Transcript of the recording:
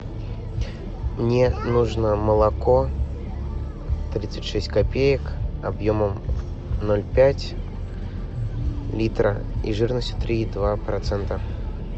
мне нужно молоко тридцать шесть копеек объемом ноль пять литра и жирностью три и два процента